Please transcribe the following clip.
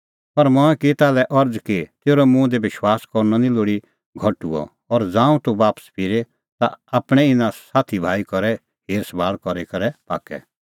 पर मंऐं की ताल्है अरज़ कि तेरअ मुंह दी विश्वास करनअ निं लोल़ी कम हुअ और ज़ांऊं तूह बापस फिरे ता आपणैं इना साथी भाई करै हेर सभाल़ करी करै पाक्कै